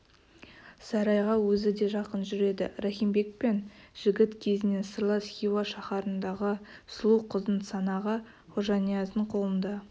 сарайға өзі де жақын жүреді рахим бекпен жігіт кезінен сырлас хиуа шаһарындағы сұлу қыздың санағы хожанияздың қолында